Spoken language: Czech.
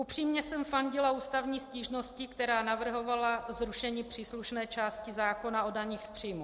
Upřímně jsem fandila ústavní stížnosti, která navrhovala zrušení příslušné části zákona o daních z příjmů.